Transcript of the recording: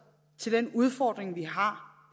til den udfordring vi har